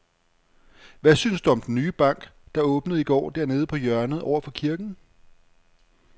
Hvad synes du om den nye bank, der åbnede i går dernede på hjørnet over for kirken?